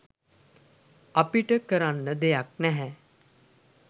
අපිට කරන්න දෙයක් නැහැ."